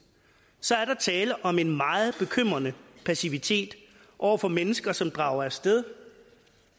så er der tale om en meget bekymrende passivitet over for mennesker som drager af sted